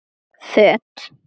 Föt